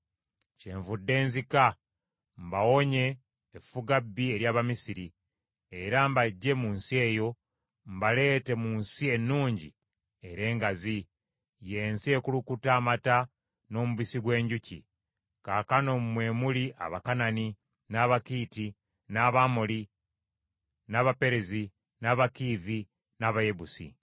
Kyenvudde nzika, mbawonye effugabbi ery’Abamisiri, era mbaggye mu nsi eyo, mbaleete mu nsi ennungi era engazi, y’ensi ekulukuta amata n’omubisi gw’enjuki; kaakano mwe muli Abakanani, n’Abakiiti, n’Abamoli, n’Abaperezi, n’Abakiivi n’Abayebusi.